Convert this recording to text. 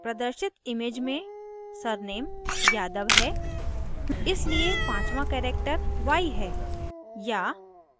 प्रदर्शित image में surname yadav है इसलिए पाँचवाँ character y है या